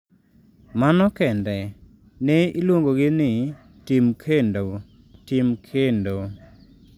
"Mano kende. Ne iluongogi ni, 'Tim kendo, tim kendo.'""